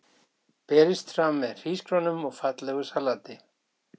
Má búast við að hann taki fleiri leiki í sumar?